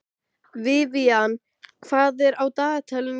Vivian, hvað er á dagatalinu í dag?